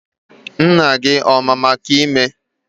Nna gị ọ ma maka ime ime?